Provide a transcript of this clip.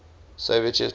soviet chess players